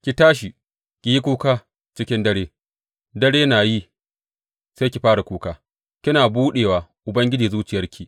Ki tashi, ki yi kuka cikin dare, dare na yi sai ki fara kuka; kina buɗewa Ubangiji zuciyarki.